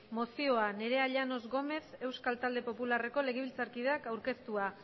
mozioa nerea llanos gómez euskal talde popularreko legebiltzarkideak aurkeztua